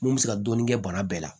Mun bɛ se ka dɔɔnin kɛ bana bɛɛ la